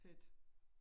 Fedt